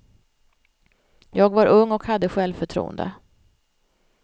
Jag var ung och hade självförtroende.